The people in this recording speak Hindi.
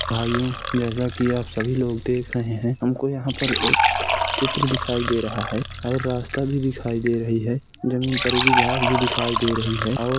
भाइयों जैसा की आप सभी लोग देख रहे हैंहमको यहाँ पे एक चित्र दिखाई दे रहा है और रास्ता भी दिखाई दे रही है। जमीन पे उगी घांस भी दिखाई दे रही है और --